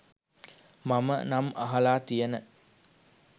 මම නම් අහලා තියෙන